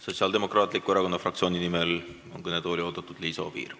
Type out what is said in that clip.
Sotsiaaldemokraatliku Erakonna fraktsiooni nimel on kõnetooli oodatud Liisa Oviir.